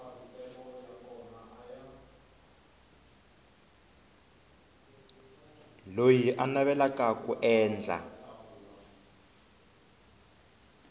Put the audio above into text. loyi a navelaka ku endla